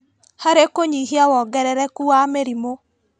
Harĩ kũnyihia wongerereku wa mĩrimũ